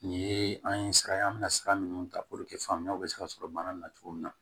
Nin yee an ye sira ye an bɛna sira minnu ta faamuyaw bɛ se ka sɔrɔ bana in na cogo min na